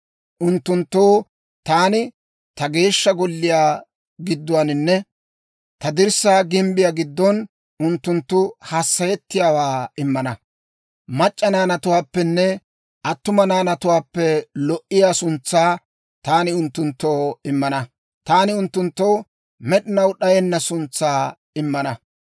unttunttoo taani ta Geeshsha Golliyaa gidduwaaninne ta dirssaa gimbbiyaa giddon, unttunttu hassayettiyaawaa immana. Mac'c'a naanatuwaappenne attuma naanatuwaappe lo"iyaa suntsaa taani unttunttoo immana; taani unttunttoo med'inaw d'ayenna suntsaa immana.